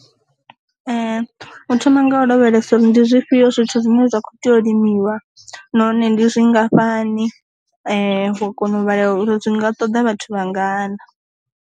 U thoma nga u lavhelesa uri ndi zwifhio zwithu zwine zwa kho tea u limiwa nahone ndi zwi ngafhani wa kona u vhala uri zwi nga ṱoḓa vhathu vha ngana.